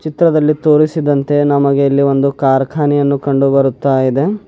ಚಿತ್ರದಲ್ಲಿ ತೋರಿಸಿದಂತೆ ನಮಗೆ ಇಲ್ಲಿ ಒಂದು ಕಾರ್ಖಾನೆಯನ್ನು ಕಂಡು ಬರುತ್ತಾ ಇದೆ.